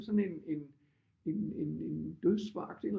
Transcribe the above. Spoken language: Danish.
Sådan en en dødsforagt ikke